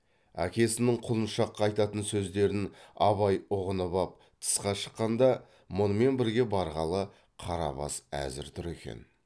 әкесінің құлыншаққа айтатын сөздерін абай ұғынып ап тысқа шыққанда мұнымен бірге барғалы қарабас әзір тұр екен